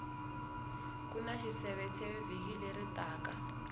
kuna xiseveseve vhiki leri taka